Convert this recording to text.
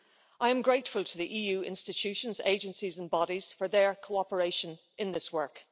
I am grateful to the EU institutions, agencies and bodies for their cooperation in this work.